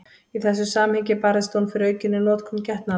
Í þessu samhengi barðist hún fyrir aukinni notkun getnaðarvarna.